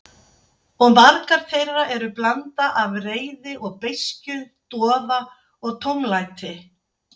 Og margar þeirra eru blanda af reiði og beiskju, doða og tómlæti.